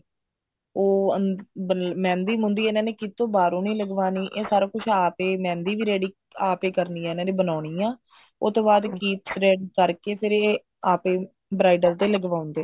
ਉਹ ਮਹਿੰਦੀ ਮੁਹਂਦੀ ਇਹਨਾ ਨੇ ਕੀਤੋ ਬਾਹਰੋਂ ਨਹੀਂ ਲਗਵਾਉਣੀ ਇਹ ਸਾਰਾ ਕੁੱਛ ਆਪ ਏ ਮਹਿੰਦੀ ਵੀ ready ਆਪ ਏ ਕਰਨੀ ਐ ਇਹਨਾ ਨੇ ਬਣਾਉਣੀ ਐ ਉਹ ਤੋਂ ਬਾ ਇਹ ਕੀਪਸ ready ਕਰਕੇ ਏ ਆਪ ਏ bridal ਤੇ ਲਗਵਾਉਂਦੇ ਨੇ